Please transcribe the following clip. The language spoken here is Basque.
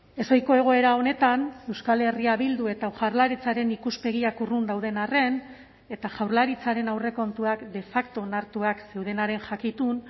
ezohiko egoera honetan euskal herria bildu eta jaurlaritzaren ikuspegiak urrun dauden arren eta jaurlaritzaren aurrekontuak de facto onartuak zeudenaren jakitun